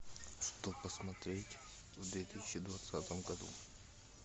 что посмотреть в две тысячи двадцатом году